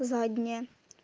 задняя